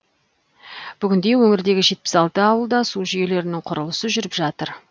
бүгінде өңірдегі жетпіс алты ауылда су жүйелерінің құрылысы жүріп жатыр